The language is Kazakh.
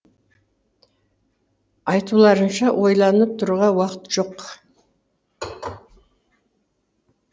айтуларынша ойланып тұруға уақыт жоқ